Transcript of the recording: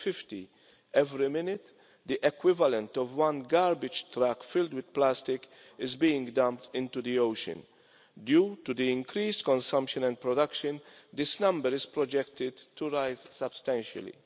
2050. Every minute, the equivalent of one garbage truck filled with plastic is being dumped into the ocean. Due to the increase in consumption and production, this number is projected to rise substantially.